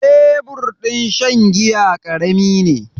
Tebur din shan giya ƙarami ne.